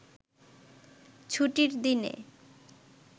ছুটির দিনে